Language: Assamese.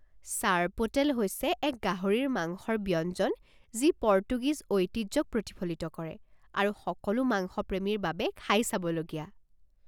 ছৰ্পোটেল হৈছে এক গাহৰিৰ মাংসৰ ব্যঞ্জন যি পৰ্তুগীজ ঐতিহ্যক প্ৰতিফলিত কৰে আৰু সকলো মাংস প্ৰেমীৰ বাবে খাই চাবলগীয়া।